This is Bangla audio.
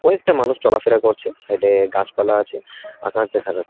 দুই একটা মানুষ চলাফেরা করছে সাইডে গাছপালা আছে আকাশ দেখা যা--